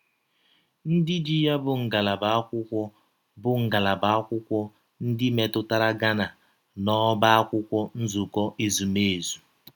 Ndị ji ya bụ ngalaba akwụkwọ bụ ngalaba akwụkwọ ndị metụtara Ghana n’Ọ́bá Akwụkwọ Nzukọ Ezụmezụ